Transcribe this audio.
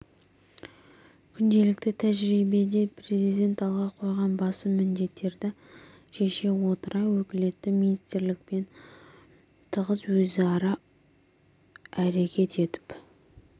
күнделікті тәжірибеде президент алға қойған басым міндеттерді шеше отыра өкілетті министрлікпен тығыз өзара әрекет етіп